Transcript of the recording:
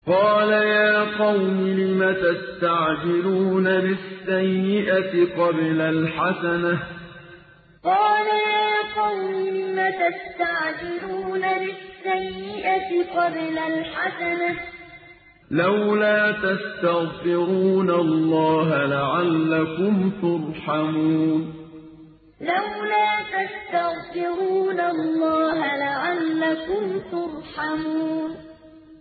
قَالَ يَا قَوْمِ لِمَ تَسْتَعْجِلُونَ بِالسَّيِّئَةِ قَبْلَ الْحَسَنَةِ ۖ لَوْلَا تَسْتَغْفِرُونَ اللَّهَ لَعَلَّكُمْ تُرْحَمُونَ قَالَ يَا قَوْمِ لِمَ تَسْتَعْجِلُونَ بِالسَّيِّئَةِ قَبْلَ الْحَسَنَةِ ۖ لَوْلَا تَسْتَغْفِرُونَ اللَّهَ لَعَلَّكُمْ تُرْحَمُونَ